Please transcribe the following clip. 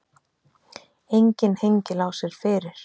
Enginn hengilás er fyrir.